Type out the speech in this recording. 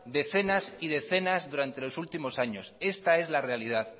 decenas y decenas durante los últimos años esta es la realidad